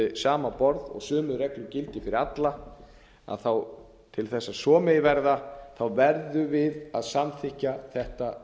sama borð og sömu reglur gildi fyrir alla til þess að svo megi verða verðum við að samþykkja þetta